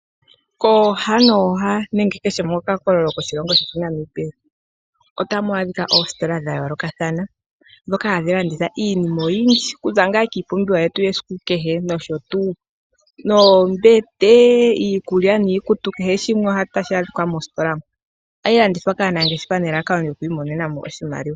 Kooha nooha nenge kehe moka kololo ko moshilongo shetu sha Namibia otamu adhika oositola dha yoolokathana, ndhoka hadhi landitha iinima oyindji kuza ngaa kiipumbiwa yetu yesiku kehe nosho tuu, oombete, iikulya niikutu, kehe shimwe omo tashi adhika moositola mo. Ohayi landithwa kaanangeshefa nelalakano lyo kwiimonena mo oshimaliwa.